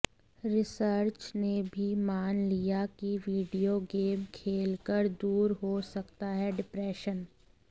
research ने भी मान लिया कि वीडियो गेम खेल कर दूर हो सकता है डिप्रेशन